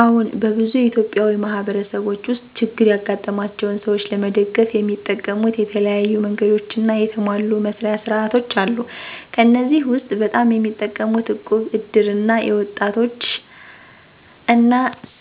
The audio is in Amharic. አዎን፣ በብዙ ኢትዮጵያዊ ማህበረሰቦች ውስጥ ችግር ያጋጠማቸውን ሰዎች ለመደገፍ የሚጠቀሙት የተለያዩ መንገዶችና የተሟሉ መስርያ ሥርዓቶች አሉ። ከእነዚህ ውስጥ በጣም የሚጠቀሙት እቁብ፣ እድር እና የወጣቶች እና